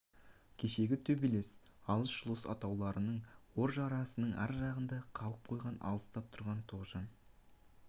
кешегі төбелес алыс-жұлыс атаулының ор жырасының ар жағында қалып қойған алыстап тұрған тоғжан